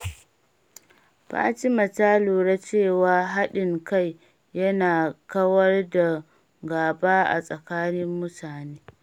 Fatima ta lura cewa haɗin kai yana kawar da gaba a tsakanin mutane.